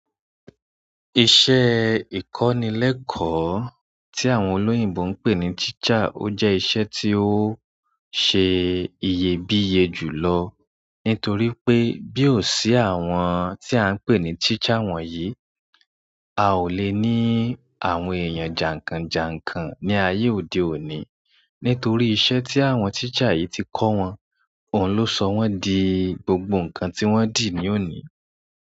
Iṣẹ́ ìkọ́nilẹ́kọ̀ọ́ tí àwọn olóyìnbo ń pè ní teacher ó jẹ́ iṣẹ́ tí ó sẹ́ iyebíye jùlọ nítorí pé bí ó sí àwọn tí à ń pè ní teacher wọ̀nyí, a ò lè ní àwọn èèyàn jànkànjànkàn ní ayé òde òní. Nítorí iṣẹ́ tí àwọn teacher yìí ti kọ wọn, òun ló sọ wọ́n di gbogbo ǹkan tí wọ́n dì ní òní.